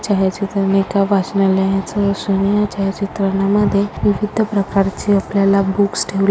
छाया चित्रा मध्ये एका वाचनालायच असून या चित्रान मध्ये विविध प्रकारचे आपल्याला बुक्स ठेवले--